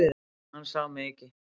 Hann sá mig ekki.